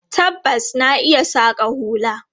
Tabbas, na iya saƙa hula.